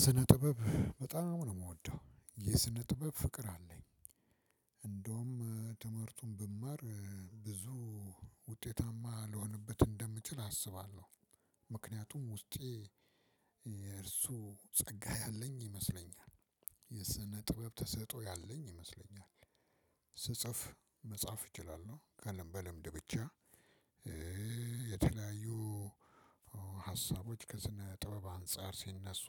ስነ ጥበብ በጣም ነው የምወደው የስነ ጥበብ ፍቅር አለኝ። ትምህርቱን ብማር ብዙ ውጤታማ ልሆነበት እንደምችል አስባለሁ። ምክንያቱም ውስጤ እሱ ፀጋ ያለኝ ይመስለኛል። የስነ ጥበብ ተሰጥኦ ያለኝ ይመስለኛል። ስጽፍ መጻፍ እችላለሁ ቀለም በልምድ ብቻ የተለያዩ ሀሳቦች ከስነ ጥበብ አንፃር ሲነሱ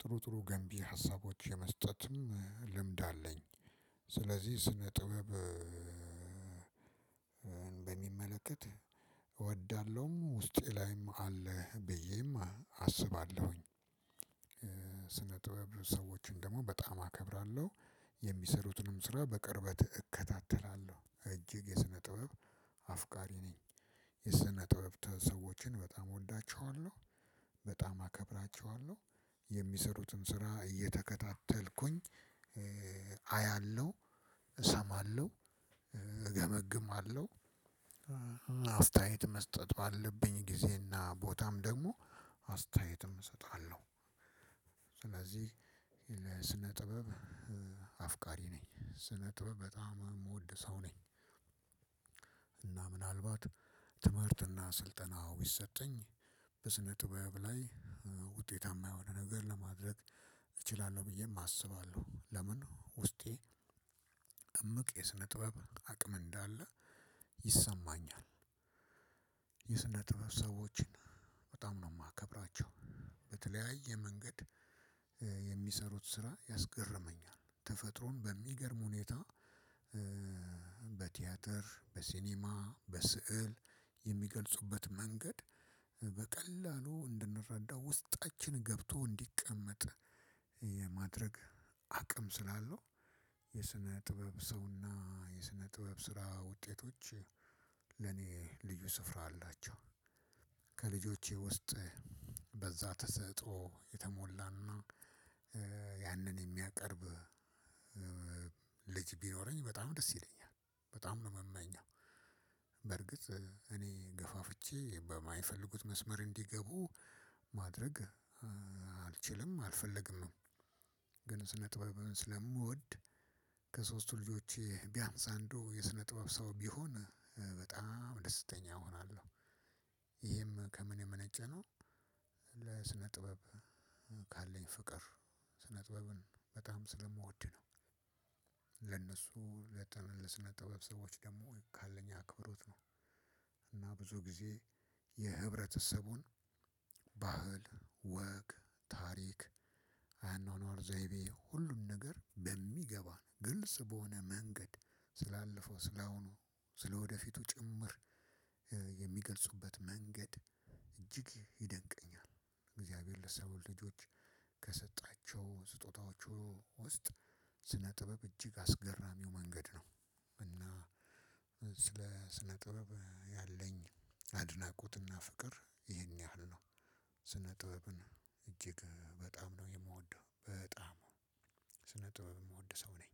ጥሩ ጥሩ ገንቢ ሀሳቦች የመስጠትም ልምድ አለኝ። ስለዚህ ስነ ጥበብ በሚመለከት እወዳለሁም ውስጤ ላይም አለ ብዬም አስባለሁኝ። ስነ ጥበብ ሰዎችን ደግሞ በጣም አከብራለሁ። የሚሰሩትንም ስራ በቅርበት እከታተላለሁ እጅግ የስነ ጥበብ አፍቃሪ ነኝ። የስነ ጥበብ ሰዎችን በጣም እወዳቸዋለሁ። በጣም አከብራቸዋለሁ። የሚሰሩትን ስራ እየተከታተልኩኝ አያለሁ እሰማለሁ እገመግማለሁ አስተያየም መስጠቱ አለብኝ ጊዜና ቦታም ደግሞ አስተያየትም እሰጣለሁ። ስለዚህ የለ ስነ ጥበብ አፍቃሪ ነኝ ስነ ጥበብ በጣም የምወድ ሰው ነኝ። እና ምናልባት ትምህርትና ስልጠናው ቢሰጠኝ በስነ ጥበብ ላይ ውጤታማ የሆነ ነገር ለማድረግ እችላለሁ ብዬም አስባለሁ። ለምን ውስጤ እምቅ የስነ ጥበብ አቅም እንዳለ ይሰማኛል። የስነ ጥበብ ሰዎችን በጣም ነው የማከብራቸው። በተለያየ መንገድ የሚሰሩት ስራ ያስገርመኛል ተፈጥሮን በሚገርም ሁኔታ በቲያትር በሲኒማ በስዕል የሚገልጹበት መንገድ በቀላሉ እንድንረዳ ውስጣችን ገብቶ እንዲቀመጥ የማድረግ አቅም ስላለው። የስነ ጥበብ ሰውና የስነ ጥበብ ስራ ውጤቶች ለኔ ልዩ ስፍራ አላቸው። ከልጆቼ ውስጥ በዛ ተሰጥኦ የተሞላና ያንን የሚያቀርብ ልጅ ቢኖረኝ በጣም ደስ ይለኛል። በጣም ነው የምመኘው። በርግጥ እኔ ገፋፍቼ በማይፈልጉት መስመር እንዲገቡ ማድረግ አልችልም አልፈልግምም። ግን ስነ ጥበብ ስለምወድ ከሶስቱ ልጆቼ ቢያምስ አንዱ የስነ ጥበብ ሰው ቢሆን በጣም ደስተኛ እሆናለሁ። ይሄም ከምን የመነጨ ነው። ለስነ ጥበብ ካለኝ ፍቅር ስነ ጥበብን በጣም ስለምወድ ነው። ለነሱ ለጥን ለስነ ጥበብ ሰዎች ደግሞ ካለኝ አክብሮት ነው። እና ብዙ ጊዜ የህብረተሰቡን ባህል ወግ ታሪክ አኗኗር ዘይቤ ሁሉም ነገር በሚገባን ግልጽ በሆነ መንገድ ስላለፈው ስላሁኑ ስለወደፊቱ ጭምር የሚገልጹበት መንገድ እጅግ ይደንቀኛል። እግዚአብሔር ለሰው ልጆች ከሰጣቸው ስጦታዎቹ ውስጥ ስነ ጥበብ እጅግ አስገራሚው መንገድ ነው። እና ስለ ስነ ጥበብ ያለኝ አድናቆትና ፍቅር ይሄን ያህል ነው። ስነ ጥበብን እጅግ በጣም ነው የምወደው በጣም ስነ ጥበብ የምወድ ሰው ነኝ።